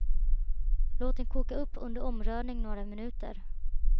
Låt den koka under omrörning några minuter.